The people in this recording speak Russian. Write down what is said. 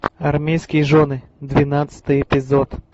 армейские жены двенадцатый эпизод